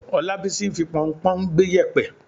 Ọlábísí ń fi pọnpọ́n gbẹ́ yèpẹ̀.